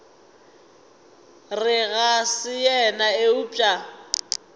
re ga se yena eupša